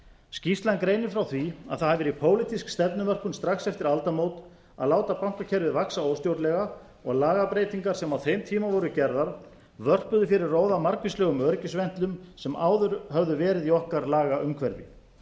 skýrslan gerir frá því að það hafi verið pólitísk stefnumörkun strax eftir aldamót að láta bankakerfið vaxa óstjórnlega og lagabreytingar sem á þeim tíma voru gerðar vörpuðu fyrir róða margvíslegum öryggisventlum sem áður höfðu verið í okkar lagaumhverfi á